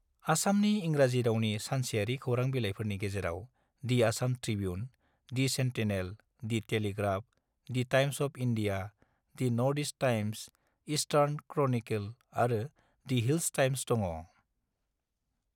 आसामनि इंराजि रावनि सानसेआरि खौरांबिलाइफोरनि गेजेराव the Assam Tribune, the Sentinel, the Telegraph, the Times of India, the North East Times, Eastern Chronicle आरो दि हिल्स टाइम्स दङ।